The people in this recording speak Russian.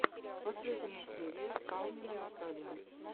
последняя серия калнина наталья